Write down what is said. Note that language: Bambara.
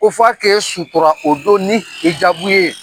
Ko f'a k'e sutura o don ni hjaabu ye.